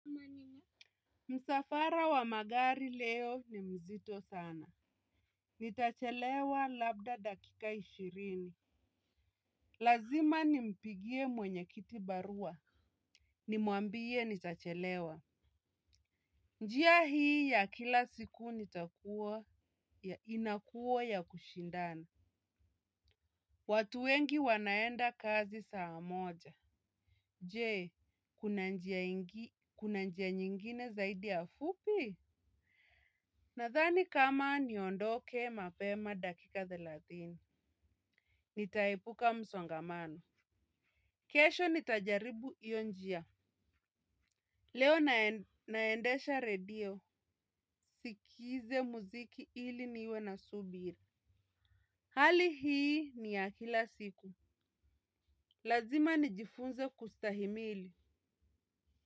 Msafara wa magari leo ni mzito sana. Nitachelewa labda dakika ishirini. Lazima nimpigie mwenyekiti barua. Nimuambie nitachelewa. Njia hii ya kila siku inakuwa ya kushindana. Watu wengi wanaenda kazi saa moja. Jee, kuna njia nyingine zaidi ya fupi? Nadhani kama niondoke mapema dakika thelathini, nitaepuka msongamano. Kesho nitajaribu hiyo njia. Leo naendesha redio, sikize muziki ili niwe na subiri. Hali hii ni ya kila siku. Lazima nijifunze kustahimili.